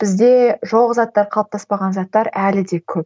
бізде жоқ заттар қалыптаспаған заттар әлі де көп